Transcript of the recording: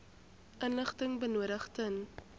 inligting benodig ten